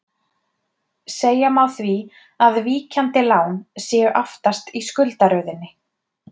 Segja má því að víkjandi lán séu aftast í skuldaröðinni.